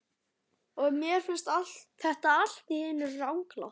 Og mér finnst þetta allt í einu ranglátt.